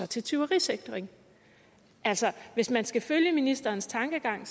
til tyverisikring altså hvis man skal følge ministerens tankegang